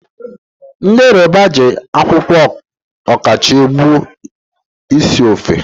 Ndị Yoroba ji akwụkwọ ọkọchị egbu esi ofe.